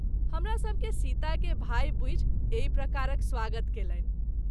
हमरा सभ के सीता के भाई बुझि एहि प्रकारक स्वागत कएलनि।